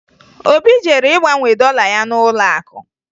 Obi jere ịgbanwe dọla ya n'ụlọakụ